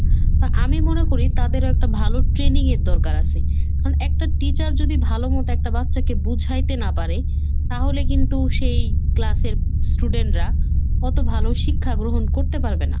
তা আমি মনে করি তাদেরও একটা ভালো training এর দরকার আছে, কারণ একটা teacher যদি ভালোমতো একটা বাচ্চাকে বুঝাইতে না পারে তাহলে কিন্তু সেই class এর student রা কত ভালো শিক্ষা গ্রহণ করতে পারবে না।